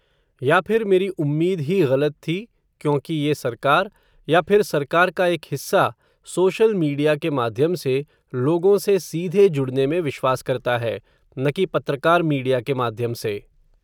या फिर मेरी उम्मीद ही ग़लत थी, क्योंकि ये सरकार, या फिर सरकार का एक हिस्सा, सोशल मीडिया के माध्यम से, लोगों से सीधे जुड़ने में विश्वास करता है, न कि पत्रकार मीडिया के माध्यम से.